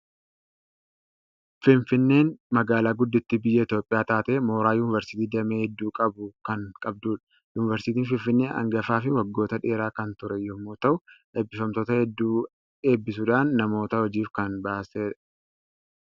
Finfinneen magaalaa guddittii biyya Itoophiyaa taatee, mooraa yuuniversiitii damee hedduu qabu kan qabdudha. Yuuniversiitiin Finfinnee hangafaa fi waggoota dheeraa kan ture yommuu ta'u, eebbifamtoota hedduu eebbisiisuudhaan namoota hojiif kan baastedha.